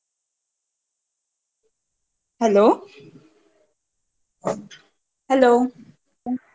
hello ? hello ?